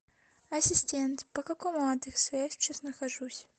ассистент по какому адресу я сейчас нахожусь